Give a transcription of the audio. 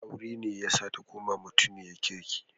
Aure ne yasa ta koma mutiniyar kirki.